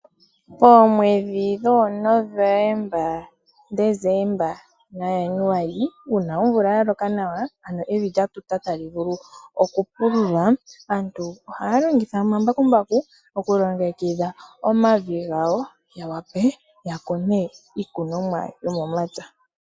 Oomwedhi dhoo November, December na January uuna omvula ya loka nawa, ano evi lya tuta nawa tali vulu oku pululwa. Aantu ohaya longitha omambakumbaku oku longekidha omavi gawo, ya vule oku kuna iikunomwa yomomapya.